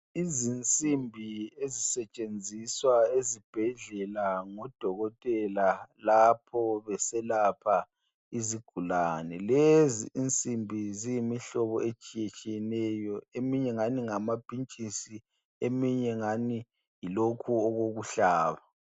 Izinsimbi ezisetshenziswa ezibhedlela ngodokotela lapho beselapha izigulani. Lezi insindi ziyimihlobo etshiyetshiyeneyo. Ezinye zingani mgamapintshisi eminye ingani yilokhu okokuhlaba.